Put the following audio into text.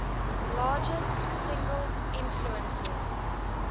largest single influences